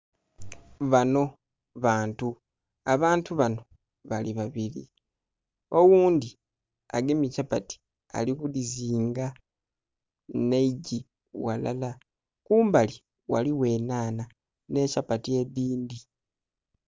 Banho bantu, abantu banho bali babiri, oghundhi agemye kyapati ali ku gizinga nhe eiggi ghalala. kumbali ghaligho enhanha nhe kyapati edhindhi.